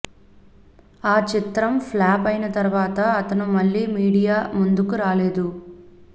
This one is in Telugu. ఆ చిత్రం ఫ్లాప్ అయిన తర్వాత అతను మళ్లీ మీడియా ముందుకి రాలేదు